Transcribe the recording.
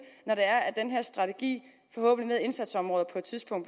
når den her strategi med indsatsområder på et tidspunkt